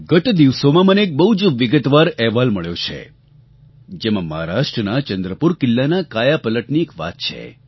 ગત દિવસોમાં મને એક બહુ જ વિગતવાર અહેવાલ મળ્યો છે જેમાં મહારાષ્ટ્રનાં ચંદ્રપુર કિલ્લાનાં કાયાપલટની એક વાત છે